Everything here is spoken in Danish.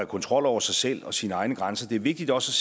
kontrol over sig selv og sine egne grænser det er vigtigt også